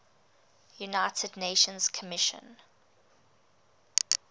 united nations commission